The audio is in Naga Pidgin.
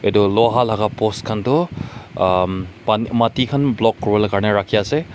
Etu loha laka bos khan tu um pan mati khan block kure bole karne rakhe ase.